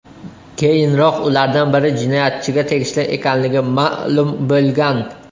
Keyinroq ulardan biri jinoyatchiga tegishli ekanligi ma’lum bo‘lgan.